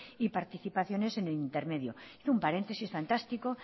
y participaciones en el intermedio hizo un paréntesis fantástico